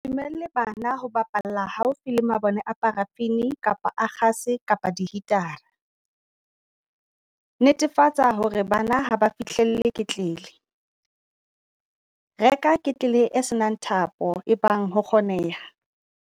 Se dumelle bana ho bapalla haufi le mabone a parafini kapa a kgase kapa dihitara. Netefatsa hore bana ha ba fihlelle ketlele. Reka ketlele e se nang thapo ebang ho kgoneha.